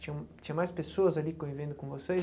Tinh tinha mais pessoas ali convivendo com vocês?